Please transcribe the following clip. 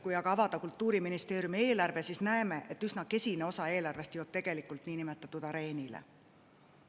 Kui aga avada Kultuuriministeeriumi eelarve, siis näeme, et üsna kesine osa eelarvest jõuab tegelikult niinimetatud areenile.